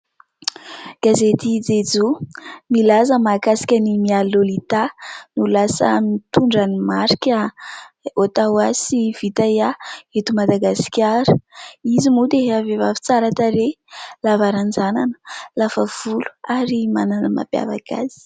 Gazety "Jejoo", milaza mahakasika an'i Mialy Lolita ho lasa mitondra ny marika "O.TWO.O" sy "VITYA" eto Madagasikara. Izy moa dia vehivavy tsara tarehy, lava ranjanana, lava volo ary manana ny mampiavaka azy.